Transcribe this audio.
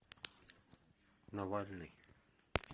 навальный